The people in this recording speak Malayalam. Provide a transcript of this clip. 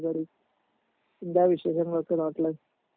എന്താ വിശേഷങ്ങളോക്കെ നാട്ടില്